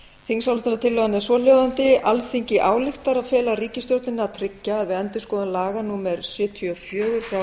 þingsályktunartillagan er svohljóðandi alþingi ályktar að fela ríkisstjórninni að tryggja að við endurskoðun laga númer sjötíu og fjögur